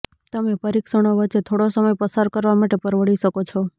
તમે પરીક્ષણો વચ્ચે થોડો સમય પસાર કરવા માટે પરવડી શકો છો